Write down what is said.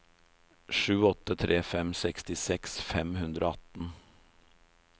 sju åtte tre fem sekstiseks fem hundre og atten